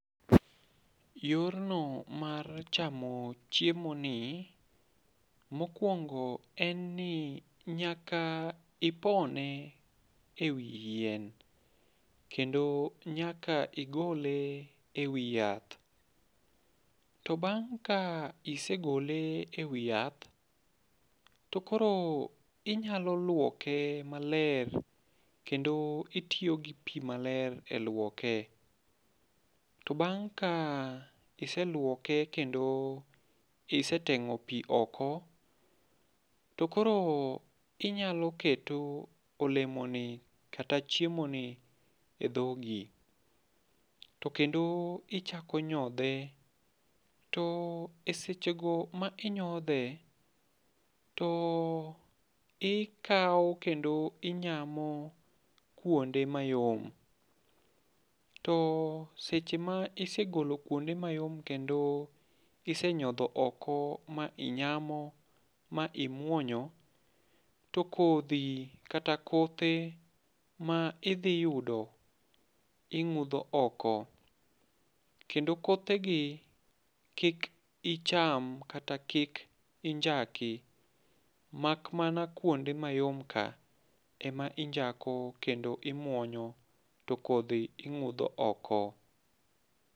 Yorno mar chamo chiemo ni, mokwongo en ni nyaka ipone e wi yien. Kendo nyaka igole e wi yath. To bang' ka isegole e wi yath, to koro inyalo lwoke maler, kendo itiyo gi pi maler e lwoke. To bang' ka iselwoke kendo iseteng'o pi oko, to koro inyalo keto olemoni, kata chiemoni e dhogi. To kendo ichako nyodhe. To e sechego ma inyodhe, to ikawo kendo inyamo kuonde mayom. To seche ma isegolo kuonde mayom kendo isenyodho oko ma inyamo ma imwonyo. To kodhi, kata kothe ma idhi yudo, ing'udho oko. Kendo kothe gi, kik icham, kata kik injaki. Mak mana kuonde mayom ka ema injako, kendo imwonyo to kodhi ing'udho oko.